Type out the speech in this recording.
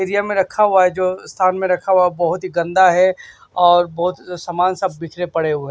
Area में रखा हुआ है जो स्थान में रखा हुआ है बहोत ही गंदा है और बहोत सामान सब बिखरे पड़े हुए हैं।